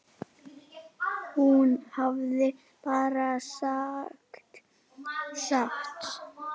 Hún hafði bara sagt satt.